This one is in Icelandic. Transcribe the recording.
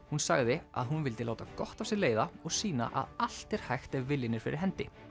hún sagði að hún vildi láta gott af sér leiða og sýna að allt er hægt ef viljinn er fyrir hendi